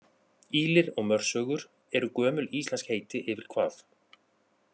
Ýlir og mörsögur eru gömul íslensk heiti yfir hvað?